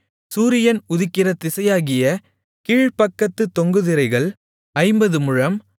சூரியன் உதிக்கிற திசையாகிய கீழ்ப்பக்கத்துத் தொங்கு திரைகள் ஐம்பது முழம்